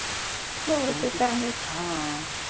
हो ते त आहेच, ह अ